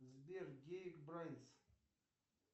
сбер гейк брайнс